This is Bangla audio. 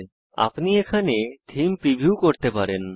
এখানে আপনি থীম প্রিভিউ করতে পারেন